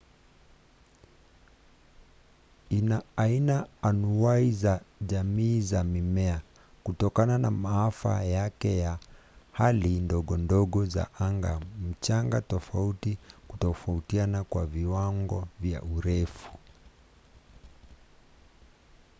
ina aina anuwai za jamii za mimea kutokana na masafa yake ya hali ndogondogo za anga mchanga tofauti na kutofautiana kwa viwango vya urefu